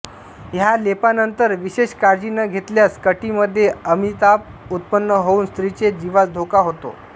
ह्या लेपानंतर विशेष काळजी न घेतल्यास कटीमध्ये अमिताप उत्पन्न होऊन स्त्रीचे जिवास धोका होतो